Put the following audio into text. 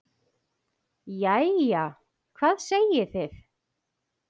Jæja, hvað segið þið?